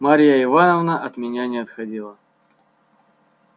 марья ивановна от меня не отходила